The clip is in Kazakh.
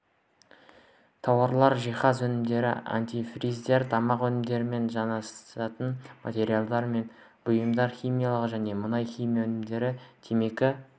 тауарлар жиһаз өнімдері антифриздер тамақ өнімдерімен жанасатын материалдар мен бұйымдар химиялық және мұнай-химия өнімдері темекі